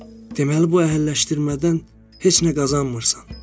Deməli bu əhilləşdirmədən heç nə qazanmırsan?